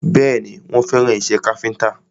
Bẹ́ẹ̀ni, wọ́n fẹ́ràn ìṣe káfíntà